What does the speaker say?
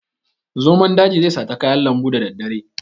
Zomon daji zai sata kayan lambu da daddare.